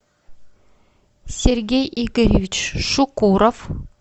сергей игоревич шукуров